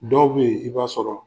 Dɔw be ye, i b'a sɔrɔ